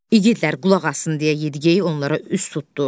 İgidlər qulaq assın deyə Yediqey onlara üz tutdu.